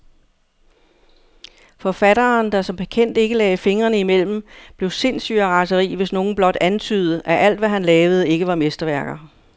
Forfatteren, der som bekendt ikke lagde fingrene imellem, blev sindssyg af raseri, hvis nogen blot antydede, at alt, hvad han lavede, ikke var mesterværker.